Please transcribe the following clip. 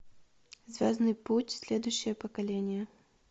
звездный путь следующее поколение